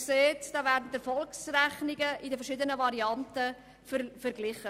Hier werden die Erfolgsrechnungen in verschiedenen Varianten verglichen.